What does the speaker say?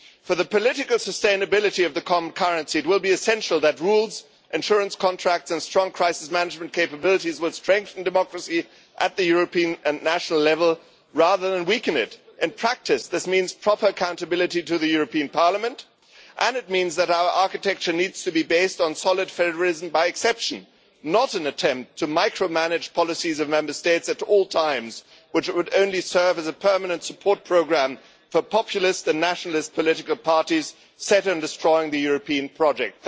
For the political sustainability of the common currency, it will be essential that rules, insurance contracts and strong crisis management capabilities strengthen democracy at the European and national level, rather than weaken it. In practice, this means proper accountability to the European Parliament, and it means that our architecture needs to be based on solid federalism by exception, not an attempt to micromanage policies of Member States at all times, which would only serve as a permanent support programme for populists and nationalist political parties set on destroying the European project.